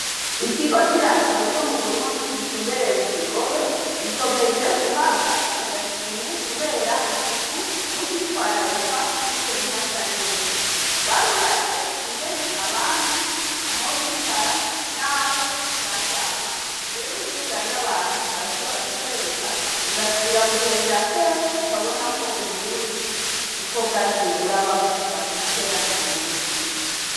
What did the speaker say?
Ikigo c'iratiro co m'uburundi gitumbereye mukigobe gikomeje guhabwa agashimwe kubera isuku n'ukwitwararika kungene hasa neza. Barubatse ingene abami aho bicara n'aho baryama. Rero iy'ujanye abantu barashobora kukwereka ugasubira mubihe vya kera ukabona uko uburundi uko bwagiye burabaho kuva na kera narindi.